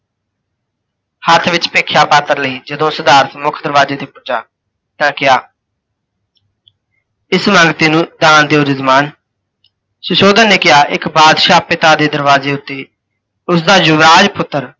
ਹੱਥ ਵਿੱਚ ਭਿੱਖਸ਼ਾ ਪਾਤਰ ਲਈ ਜਦੋਂ ਸਿਧਾਰਥ ਮੁੱਖ ਦਰਵਾਜੇ ਤੇ ਪੁੱਜਾ, ਤਾਂ ਕਿਹਾ, ਇਸ ਮੰਗਤੇ ਨੂੰ ਦਾਨ ਦਿਓ ਜੱਜਮਾਨ। ਸੁਸ਼ੋਧਨ ਨੇ ਕਿਹਾ, ਇੱਕ ਬਾਦਸ਼ਾਹ ਪਿਤਾ ਦੇ ਦਰਵਾਜੇ ਉੱਤੇ ਉਸਦਾ ਯੁਵਰਾਜ ਪੁੱਤਰ,